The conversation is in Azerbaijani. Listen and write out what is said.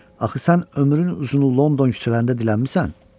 Axı sən ömrünü uzun London küçələrində dilənmisən.